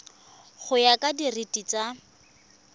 go ya ka direiti tsa